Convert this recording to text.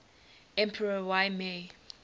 emperor y mei